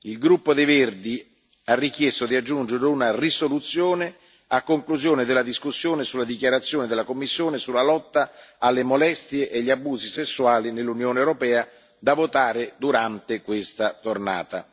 Martedì il gruppo Verts ALE ha richiesto di aggiungere una risoluzione a conclusione della discussione sulla dichiarazione della Commissione sulla lotta alle molestie e agli abusi sessuali nell'Unione europea, da votare durante questa tornata.